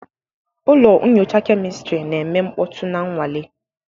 Ụlọ nyocha kemịstri na-eme mkpọtụ na nnwale.